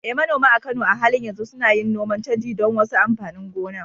Eh, manoma a Kano a halin yanzu suna yin noman canji don wasu amfanin gona.